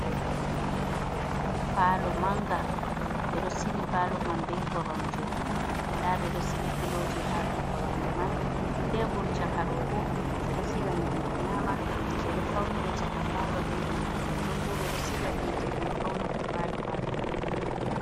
Palo Manga: Ɓedo sili palo man be koromje, nda ɓeɗo sigi piloji ha dou koromje man. Tebul chaka ɗo bo; ɓeɗo siga nyamdu nyama, ɓeɗo faunira chaka palo be man, nonbo ɓeɗo siga hite ɗum faunata palo ha ton.